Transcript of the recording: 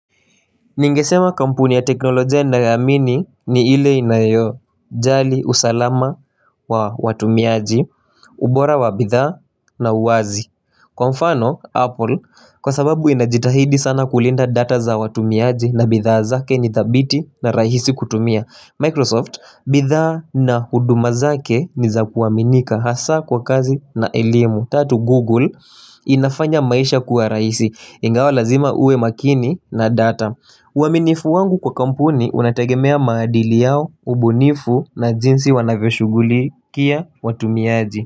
Ningesema kampuni ya teknolojia ninayoiamini ni ile inayo jali usalama wa watumiaji, ubora wa bidhaa na uwazi. Kwa mfano, Apple, kwa sababu inajitahidi sana kulinda data za watumiaji na bidhaa zake ni thabiti na rahisi kutumia. Microsoft, bidhaa na huduma zake ni za kuaminika hasa kwa kazi na elimu. Tatu Google inafanya maisha kuwa raisi Ingawa lazima uwe makini na data uaminifu wangu kwa kampuni unategemea maadili yao ubunifu na jinsi wanavyoshuguli kia watumiaji.